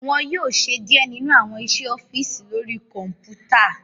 Wọn yóò ṣe diẹ nínu awọn iṣẹ ọfiisi lori kọnputa